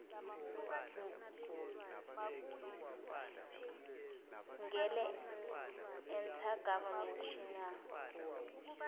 ngele inter governmental